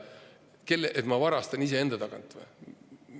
Seda, et ma varastan iseenda tagant või?